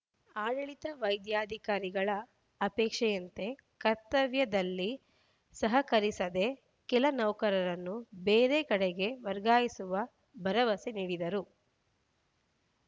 ಆಡಳಿತ ವೈದ್ಯಾಕಾರಿಗಳ ಅಪೇಕ್ಷೆಯಂತೆ ಕರ್ತವ್ಯದಲ್ಲಿ ಸಹಕರಿಸದ ಕೆಲ ನೌಕರರನ್ನು ಬೇರೆ ಕಡೆಗೆ ವರ್ಗಾಯಿಸುವ ಭರವಸೆ ನೀಡಿದರು